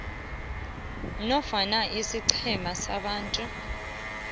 nofana isiqhema sabantu